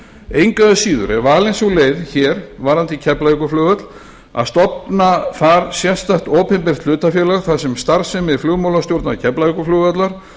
engu að síður er valin sú leið hér varðandi keflavíkurflugvöll að stofna þar sérstakt opinbert hlutafélag þar sem starfsemi flugmálastjórnar keflavíkurflugvallar